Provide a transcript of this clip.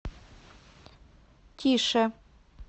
тише